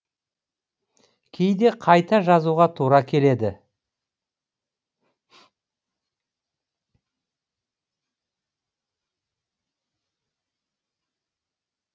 кейде қайта жазуға тура келеді